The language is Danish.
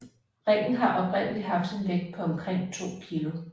Ringen har oprindelig haft en vægt på omkring 2 kg